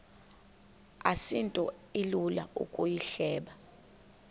asinto ilula ukuyihleba